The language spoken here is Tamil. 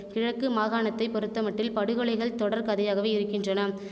கிழக்கு மாகாணத்தை பொறுத்தமட்டில் படுகொலைகள் தொடர் கதையாகவே இருக்கின்றன